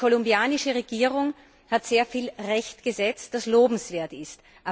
Die kolumbianische Regierung hat sehr viel Recht gesetzt, das lobenswert ist.